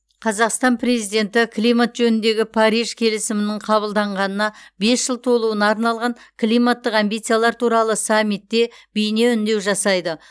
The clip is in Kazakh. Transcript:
қазақстан президенті климат жөніндегі париж келісімінің қабылданғанына бес жыл толуына арналған климаттық амбициялар туралы саммитте бейне үндеу жасайды